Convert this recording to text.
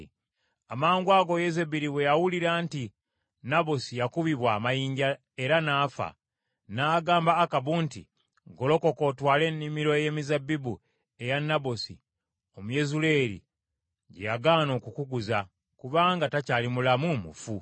Amangwago Yezeberi bwe yawulira nti Nabosi yakubibwa amayinja era n’afa, n’agamba Akabu nti, “Golokoka otwale ennimiro ey’emizabbibu eya Nabosi Omuyezuleeri gye yagaana okukuguza, kubanga takyali mulamu, mufu.”